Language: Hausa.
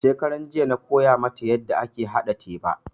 Shekaranjiya na koya mata yanda ake haɗa teba